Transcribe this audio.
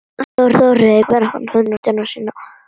Þá hreyfir hann hönd sína.